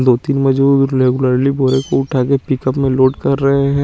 दो तिन मजूर रेगुलरली बोर को उठा के पिकप में लोड कर रहे है।